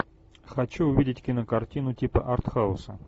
хочу увидеть кинокартину типа арт хауса